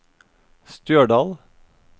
Stjørdal